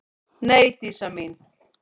Nei, Dísa mín.